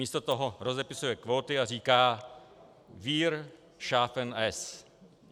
Místo toho rozepisuje kvóty a říká: wir schaffen es.